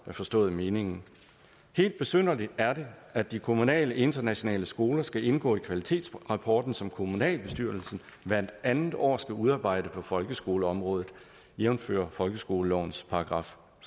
har forstået meningen helt besynderligt er det at de kommunale internationale skoler skal indgå i kvalitetsrapporten som kommunalbestyrelsen hvert andet år skal udarbejde på folkeskoleområdet jævnfør folkeskolelovens §